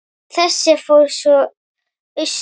En þessi fór svo austur.